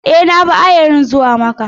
E, na bi ayarin zuwa Makka.